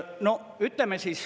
No ütleme …